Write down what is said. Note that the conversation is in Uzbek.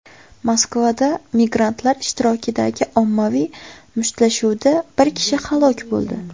Moskvada migrantlar ishtirokidagi ommaviy mushtlashuvda bir kishi halok bo‘ldi.